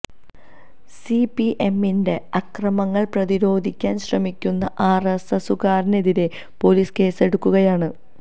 C P എമ്മിന്റെ അക്രമങ്ങള് പ്രതിരോധിക്കാന് ശ്രമിക്കുന്ന ആര് എസ് എസുകാര്ക്കെതിരെ പോലീസ് കേസെടുക്കുകയാണ്